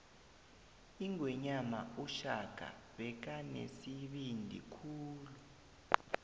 ingwenyama ushaka bekanesibindi khulu